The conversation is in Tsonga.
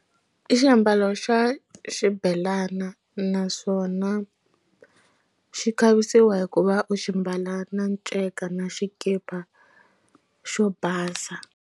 I xiambalo xa xibelana naswona xi khavisiwa hikuva u xi mbala na nceka na xikipa xo basa.